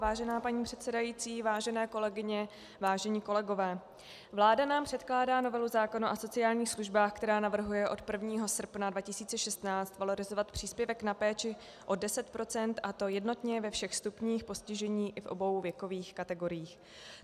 Vážená paní předsedající, vážené kolegyně, vážení kolegové, vláda nám předkládá novelu zákona o sociálních službách, která navrhuje od 1. srpna 2016 valorizovat příspěvek na péči o 10 %, a to jednotně ve všech stupních postižení i v obou věkových kategoriích.